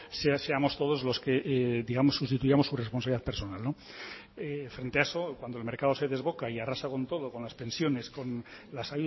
seamos todos los que sustituyamos su responsabilidad personal señor itxaso cuando el mercado se desboca y arrasa con todo con las pensiones con las